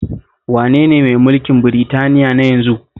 Wane ne mai mulkin Britaniya na yanzu?